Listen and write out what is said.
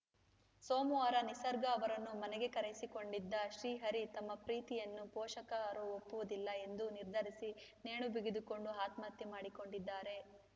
ಸೋಮವಾರ ನಿಸರ್ಗ ಅವರನ್ನು ಮನೆಗೆ ಕರೆಯಿಸಿಕೊಂಡಿದ್ದ ಶ್ರೀಹರಿ ತಮ್ಮ ಪ್ರೀತಿಯನ್ನು ಪೋಷಕರು ಒಪ್ಪುವುದಿಲ್ಲ ಎಂದು ನಿರ್ಧರಿಸಿ ನೇಣು ಬಿಗಿದುಕೊಂಡು ಆತ್ಮಹತ್ಯೆ ಮಾಡಿಕೊಂಡಿದ್ದಾರೆ